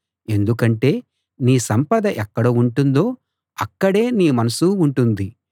ఎందుకంటే నీ సంపద ఎక్కడ ఉంటుందో అక్కడే నీ మనసూ ఉంటుంది